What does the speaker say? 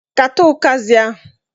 Kata utazị ahụ!